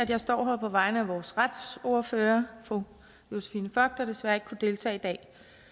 at jeg står her på vegne af vores retsordfører fru josephine fock der desværre deltage i dag